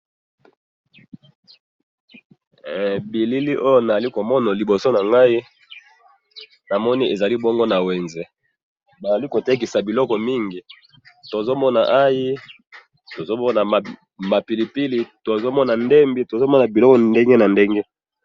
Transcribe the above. bilili oyo nazali komona liboso na ngai, namoni ezali bongo na wenze, bazali ko tekisa biloko mingi, tozo mona ayi, tozo mona ma pilipili, tozo mona mbembi, tozo mona biloko ndenge na ndenge